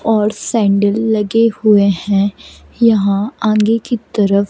और सैंडल लगे हुए हैं यहां आगे की तरफ--